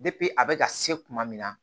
a bɛ ka se kuma min na